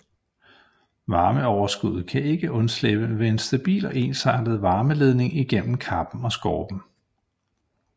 Varmeoverskuddet kan ikke undslippe ved en stabil og ensartet varmeledning igennem kappen og skorpen